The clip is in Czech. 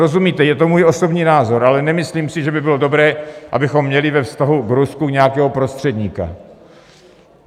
Rozumíte, je to můj osobní názor, ale nemyslím si, že by bylo dobré, abychom měli ve vztahu k Rusku nějakého prostředníka.